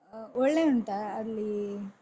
ಹ ಒಳ್ಳೆ ಉಂಟಾ ಅಲ್ಲಿ?